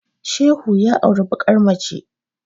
Shehu ya auri bakar mace